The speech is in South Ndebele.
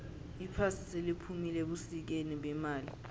iphasi seliphumile ebusikeni bemali